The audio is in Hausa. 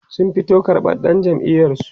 sun fito tarbar dan jam'iyar su